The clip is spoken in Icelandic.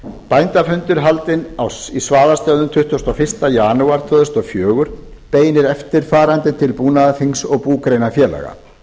bændafundur haldinn í svaðastöðum tuttugasta og fyrsta janúar tvö þúsund og fjögur beinir eftirfarandi til búnaðarþings og búgreinafélaga